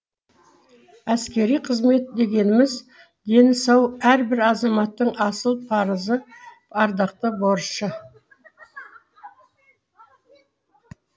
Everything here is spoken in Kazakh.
әскери қызмет дегеніміз дені сау әрбір азаматтың асыл парызы ардақты борышы